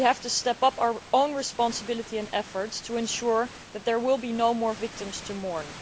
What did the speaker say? We have to step up our own responsibility and efforts to ensure that there will be no more victims to mourn.